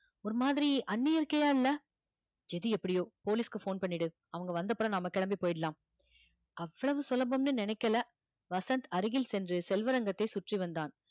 ஒரு மாதிரி இல்லை எது எப்படியோ police க்கு phone பண்ணிடு அவங்க வந்தப்புறம் நாம கிளம்பி போயிடலாம் அவ்வளவு சுலபம்னு நினைக்கல வசந்த் அருகில் சென்று செல்வரங்கத்தை சுற்றி வந்தான்